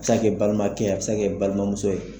A bɛ se ka kɛ balimakɛ ye, a bɛ se ka kɛ i balimamuso ye.